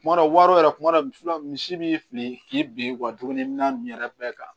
Kuma dɔ wari yɛrɛ kuma dɔ la musola misi b'i fili k'i bin dumuni min na nin yɛrɛ bɛɛ kan